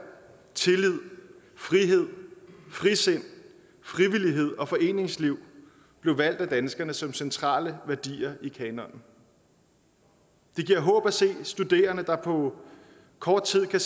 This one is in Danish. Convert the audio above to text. tillid frihed frisind frivillighed og foreningsliv blev valgt af danskerne som centrale værdier i kanonen det giver håb at se studerende der på kort tid kan